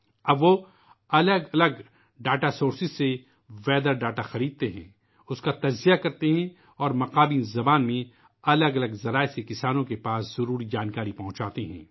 اب وہ موسم کے اعداد و شمار کو مختلف اعداد و شمار کے ذرائع سے خریدتے ہیں ، اس کا تجزیہ کرتے ہیں اور مقامی زبان میں مختلف ذرائع کے ذریعہ کاشت کاروں کو ضروری معلومات منتقل کرتے ہیں